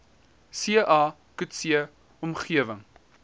ca coetzee omgewing